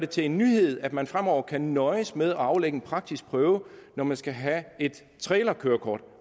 til en nyhed at man fremover kan nøjes med at aflægge en praktisk prøve når man skal have et trailerkørekort